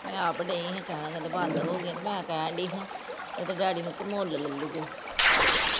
ਮੈਂ ਆਪ ਡਈ ਹਾਂ ਕਹਿਣ ਕਹਿੰਦੇ ਬੰਦ ਹੋ ਗਿਆ ਤੇ ਮੈਂ ਕਹਿਣ ਡਈ ਸਾਂ ਇਹਦੇ ਡੈਡੀ ਨੂੰ ਕੇ ਮੁਲ ਲੈ ਲਈਏ